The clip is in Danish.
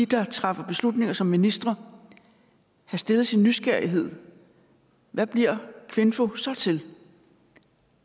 der træffer beslutninger som ministre have stillet sin nysgerrighed hvad bliver kvinfo så til